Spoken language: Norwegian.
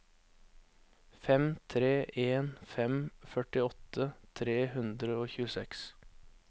fem tre en fem førtiåtte tre hundre og tjueseks